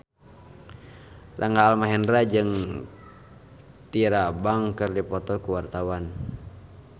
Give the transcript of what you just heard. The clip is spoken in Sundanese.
Rangga Almahendra jeung Tyra Banks keur dipoto ku wartawan